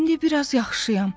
İndi biraz yaxşıyam.